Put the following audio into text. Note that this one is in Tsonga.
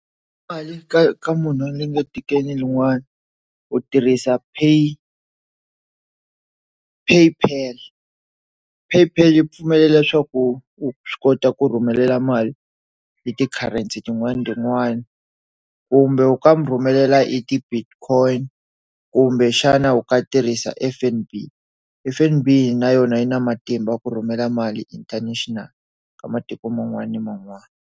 Mali ka ka munhu wa onge etikweni rin'wana u tirhisa pay PayPal PayPal yi pfumela leswaku u swi kota ku rhumela mali leti currency tin'wana tin'wani kumbe u ka mi rhumelela i debit coin kumbe xana u ka tirhisa F_N_B, F_N_B na yona yi na matimba ku rhumela mali international ka matiko man'wana ni man'wana.